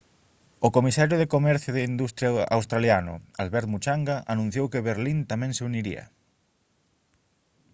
o comisario de comercio e industria australiano albert muchanga anunciou que benín tamén se uniría